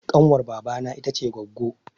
Ƙanwar baba na ita ce goggo